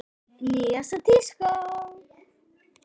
Nýjasta tíska?